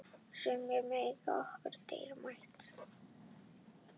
Sú minning er okkur dýrmæt.